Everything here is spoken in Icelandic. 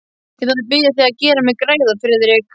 Ég þarf að biðja þig að gera mér greiða, Friðrik.